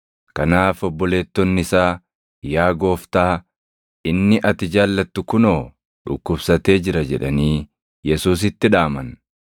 Kanaaf obboleettonni isaa, “Yaa Gooftaa, inni ati jaallattu kunoo dhukkubsatee jira” jedhanii Yesuusitti dhaaman.